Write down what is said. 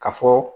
Ka fɔ